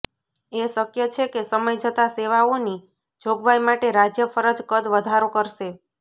એ શક્ય છે કે સમય જતાં સેવાઓની જોગવાઈ માટે રાજ્ય ફરજ કદ વધારો કરશે